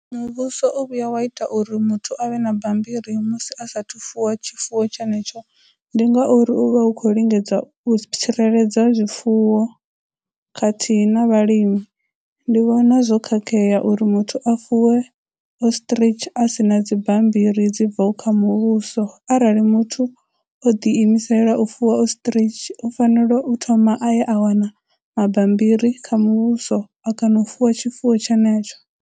Muvhuso o vhuya wa ita uri muthu a vhe na bammbiri musi a saathu fuwa tshifuwo tshenetsho ndi ngauri u vha hu khou lingedza u tsireledza zwifuwo khathihi na vhalimi, ndi vhona zwo khakhea uri muthu a fuwe ostrich a sina dzibammbiri dzibvaho kha muvhuso, arali muthu o ḓi imisela u fuwa ostrich, u fanela u thoma a ye a wana mabambiri kha muvhuso a kana u fuwa tshifuwo tshenetsho.